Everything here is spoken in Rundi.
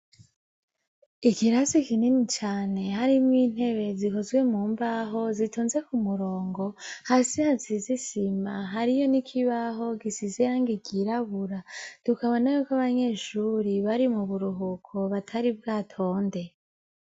Ikirasi ikinini cane harimwo intebe zikozwe mu mbaho zitonze ku murongo hasi hasizisima, hariyo ni ikibaho gisize hangi igirabura dukabona yuko abanyeshuri bari mu buruhuko batari bwatonde.